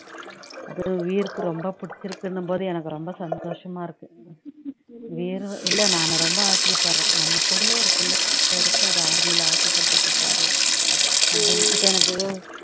அதான் வீர்க்கு ரொம்ப பிடிச்சுருக்குன்னும்போது எனக்கு ரொம்ப சந்தோஷமா இருக்கு வீரு இல்ல நானு ரொம்ப ஆச்சரியப்படுறேன் நம்ம கூடயே ஒரு பிள்ளை இருக்கு அது army லே ஆசைப்பட்டிருக்கு பாரு அப்படின்னு இப்போ எனக்கு